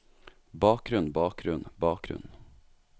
bakgrunn bakgrunn bakgrunn